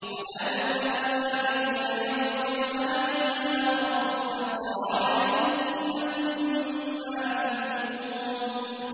وَنَادَوْا يَا مَالِكُ لِيَقْضِ عَلَيْنَا رَبُّكَ ۖ قَالَ إِنَّكُم مَّاكِثُونَ